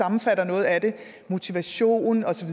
sammenfatter noget af det motivation og så